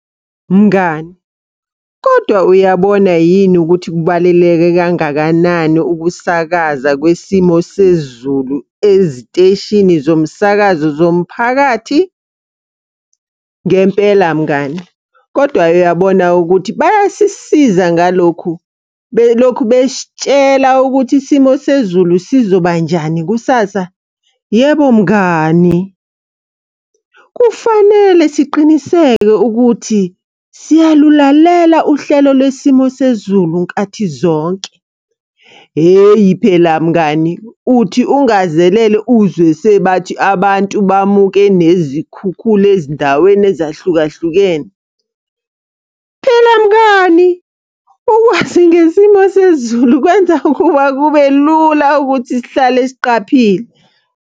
Mngani, kodwa uyabona yini ukuthi kubaluleke kangakanani ukusakaza kwesimo sezulu eziteshini zomsakazo zomphakathi? Ngempela mngani, kodwa uyabona ukuthi bayasisiza ngalokhu, belokhu besitshela ukuthi isimo sezulu sizoba njani kusasa? Yebo mngani, kufanele siqiniseke ukuthi siyalulalela uhlelo lwesimo sezulu nkathi zonke. Hheyi phela mngani, uthi ungazelele uzwe sebathi abantu bamuke nezikhukhula ezindaweni ezahlukahlukene. Phela mngani, ukuthi ngesimo sezulu kwenza ukuba kube lula ukuthi sihlale siqaphile.